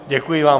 Děkuji vám.